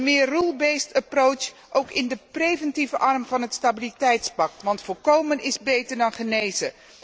Een meer rule based approach ook in de preventieve arm van het stabiliteitspact, want voorkomen is beter dan genezen.